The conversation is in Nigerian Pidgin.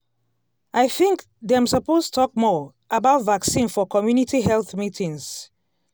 i think dem suppose talk more about vaccine for community health meetings.